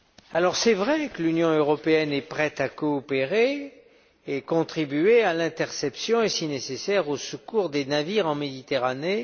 Il est vrai que l'Union européenne est prête à coopérer et à contribuer à l'interception et, si nécessaire, au secours des navires en Méditerranée.